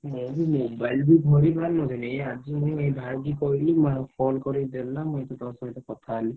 ମୁଁ ବି mobile ବି ଧରିପାରୁନଥିଲି। ଏଇ ଆଜି ମୁଁ ଏଇ ଭାଇକି କହିଲି ମୋ call କରିକି ଦେଲା। ମୁଁ ଏଇଠି ତୋ ସହିତ କଥା ହେଲି।